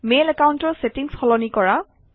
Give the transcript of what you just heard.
mail একাউণ্টৰ setting সলনি কৰা